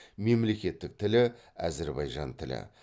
мемлекеттік тілі әзірбайжан тілі